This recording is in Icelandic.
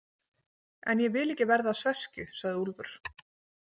En ég vil ekki verða að sveskju, sagði Úlfur.